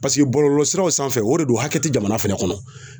Paseke bɔlɔlɔ siraw sanfɛ o de do hakɛ ti jamana fɛnɛ kɔnɔ.